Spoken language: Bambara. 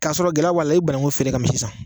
K'a sɔrɔ gɛlɛya b'a la i bi banangun feere ka misi san